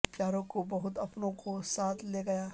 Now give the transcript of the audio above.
بہت پیاروں کو بہت اپنوں کو ساتھ لے گیا